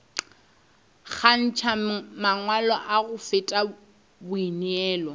kgantšha mangwalo go feta boineelo